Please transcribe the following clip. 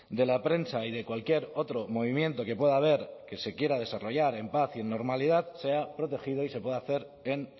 de la prensa y de cualquier otro movimiento que pueda haber que se quiera desarrollar en paz y normalidad sea protegido y se pueda hacer en